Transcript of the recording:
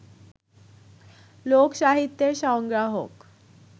লোক-সাহিত্যের সংগ্রাহক